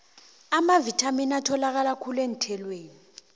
amavithamini atholakala khulu eenthelweni